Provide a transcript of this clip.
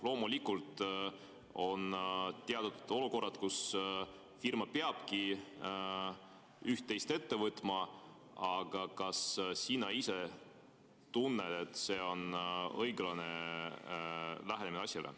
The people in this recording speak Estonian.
Loomulikult on teatud olukorrad, kus firma peabki üht-teist ette võtma, aga kas sina ise tunned, et see on õiglane lähenemine?